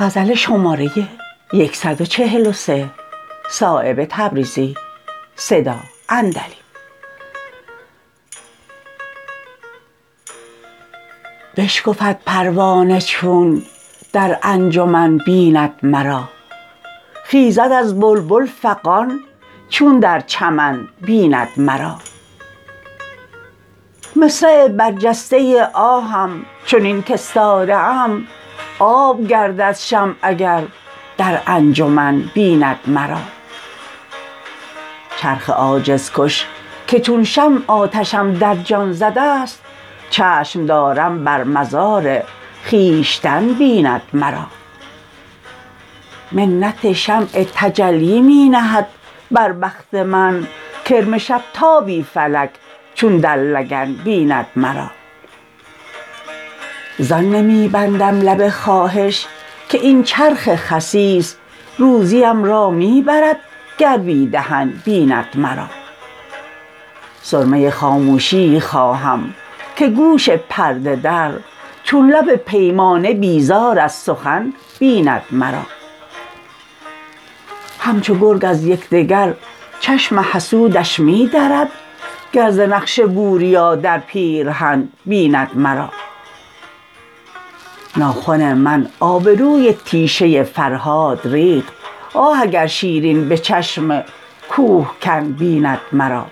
بشکفد پروانه چون در انجمن بیند مرا خیزد از بلبل فغان چون در چمن بیند مرا مصرع برجسته آهم چنین کاستاده ام آب گردد شمع اگر در انجمن بیند مرا چرخ عاجز کش که چون شمع آتشم در جان زده است چشم دارم بر مزار خویشتن بیند مرا منت شمع تجلی می نهد بر بخت من کرم شب تابی فلک چون در لگن بیند مرا زان نمی بندم لب خواهش که این چرخ خسیس روزیم را می برد گر بی دهن بیند مرا سرمه خاموشیی خواهم که گوش پرده در چون لب پیمانه بیزار از سخن بیند مرا همچو گرگ از یکدگر چشم حسودش می درد گر ز نقش بوریا در پیرهن بیند مرا ناخن من آبروی تیشه فرهاد ریخت آه اگر شیرین به چشم کوهکن بیند مرا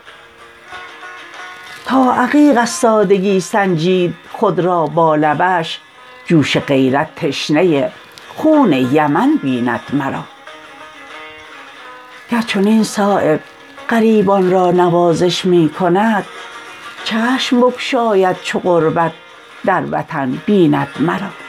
تا عقیق از سادگی سنجید خود را با لبش جوش غیرت تشنه خون یمن بیند مرا گر چنین صایب غریبان را نوازش می کند چشم بگشاید چو غربت در وطن بیند مرا